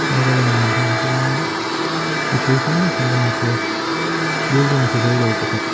thlalaka lan dan atang chuan mipui hrang hrang kan hmu thei a building sa zolo pakhat--